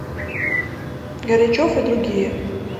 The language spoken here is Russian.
горячев и другие